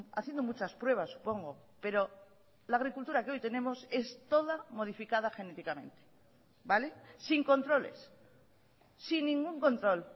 haciendo muchas pruebas supongo pero la agricultura que hoy tenemos es toda modificada genéticamente vale sin controles sin ningún control